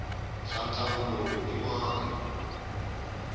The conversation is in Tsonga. xa ntlangu lowu i mani